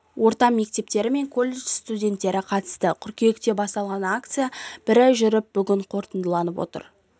орта мектептері мен коллежд студентері қатысты қыркүйекте басталған акция бір ай жүріп бүгін қорытындыланып отыр